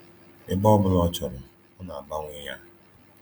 Ebe ọ bụla ọ chọrọ, ọ na-agbanwe ya.